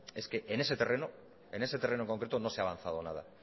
es que en ese terreno en ese terreno en concreto no se ha avanzado nada